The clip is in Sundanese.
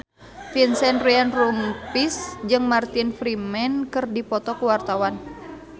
Vincent Ryan Rompies jeung Martin Freeman keur dipoto ku wartawan